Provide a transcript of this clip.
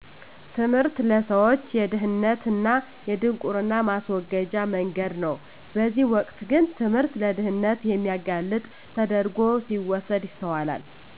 ትምህርት ለሰዎች የድህነት እና የድንቁርና ማስወገጃ መንገድ ነው በዚህ ወቅት ግን ትምህርት ለድህነት የሚያጋልጥ ተደረጉ ሲወሰድ ይስተዋላል